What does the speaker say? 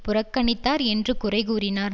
புறக்கணித்தார் என்று குறைகூறினார்